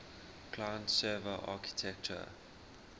client server architecture